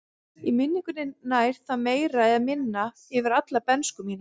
Í minningunni nær það meira eða minna yfir alla bernsku mína.